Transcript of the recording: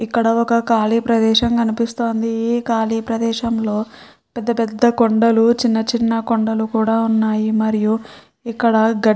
ఇక్కడ ఒక కాళి ప్రేదేశం కనిపిస్తుంది ఇ కాళి ప్రేదేశం లో పేద పేద కొండల్లు చిన్న చిన్న కొండల్లు కూడా ఉన్నాయి మరియు ఇక్కడ --